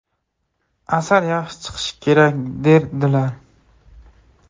Asar yaxshi chiqishi kerak”, derdilar.